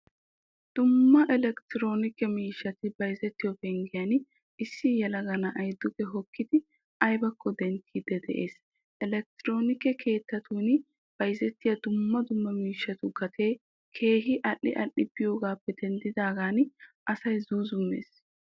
Dumma electronikke miishshay bayzzettiyo penggiyan issi yelaga na'aay dugge hokkidi aybakko denttiidi de'ees. Elekktoronikke keettattun bayzettiyaa dumma dumma miishshatu gatee keehin al'i al'i biyogappe denddagan asay zuuzumees.